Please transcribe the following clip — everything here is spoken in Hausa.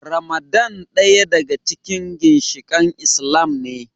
Ramadan daya daga cikin ginshikain Islam ne.